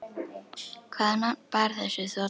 Hvaða nafn bar þessi þota?